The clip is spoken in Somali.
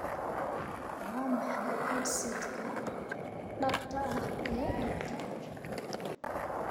waa maxay headset-ka dhabta ah ee dhabta ah